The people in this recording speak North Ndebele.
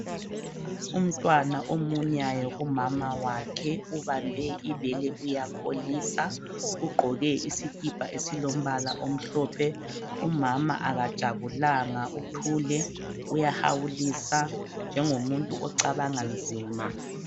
Umntwana omunyayo kumama wakhe, ubambe ibele uyakholisa. Ugqoke isikipa esilombala omhlophe. Umama akajabulanga uthule uyahawulisa njengomuntu ocabanga nzima.